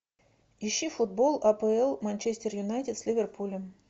ищи футбол апл манчестер юнайтед с ливерпулем